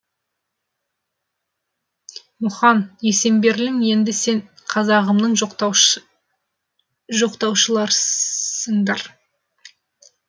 мұхаң есенберлин енді сен қазағымның жоқтаушыларсыңдар